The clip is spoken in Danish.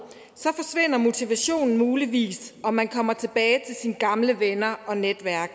så forsvinder motivationen muligvis og man kommer tilbage til sine gamle venner og netværk